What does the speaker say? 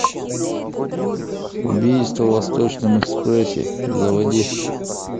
убийство в восточном экспрессе заводи